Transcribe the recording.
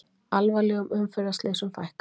Alvarlegum umferðarslysum fækkar